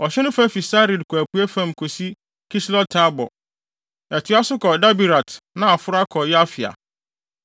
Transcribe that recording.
Ɔhye no fa fi Sarid kɔ apuei fam kosi Kislot-Tabor; ɛtoa so kɔ Daberat na aforo akɔ Yafia.